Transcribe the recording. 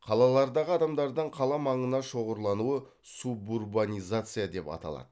қалалардағы адамдардың қала маңына шоғырлануы субурбанизация деп аталады